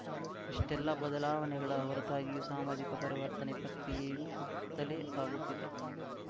ಇಷ್ಟೆಲ್ಲಾ ಬದಲಾವಣೆಗಳ ಹೊರತಾಗಿಯೂ ಸಾಮಾಜಿಕ ಪರಿವರ್ತನೆ ಪ್ರಕ್ರಿಯೆಯು ಕುಟುತ್ತಲೇ ಸಾಗುತ್ತಿದೆ